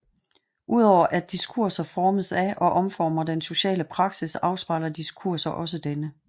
Udover at diskurser formes af og omformer den sociale praksis afspejler diskurser også denne